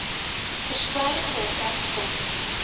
verspreiding daarvan stop